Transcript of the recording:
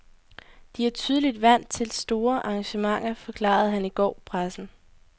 De er tydeligvis vant til store arrangementer, forklarede han i går pressen.